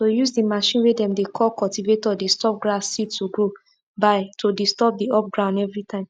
to use the machine way dem dey call cultivator dey stop grass seed to grow by to disturb the up ground every time